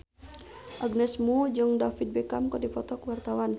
Agnes Mo jeung David Beckham keur dipoto ku wartawan